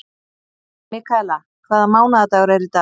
Mikaela, hvaða mánaðardagur er í dag?